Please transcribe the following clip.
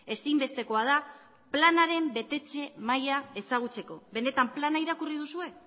ezinbestekoa da planaren betetze maila ezagutzeko benetan plana irakurri duzue